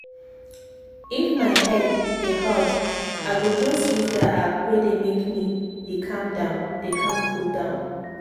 if my head dey hot i go just use that app wey dey make me dey calm cool down.